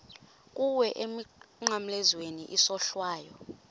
kuwe emnqamlezweni isohlwayo